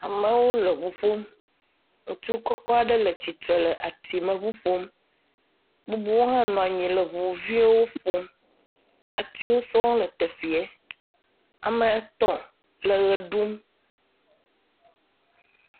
Amewo le ŋu ƒom, ŋutsu kɔkɔ aɖe tsitre le atime ŋu ƒom, bubuwo hã nɔ anyi le ŋuviwo ƒom, atiwo sɔŋ le teƒie, ame etɔ̃ le ʋe ɖum.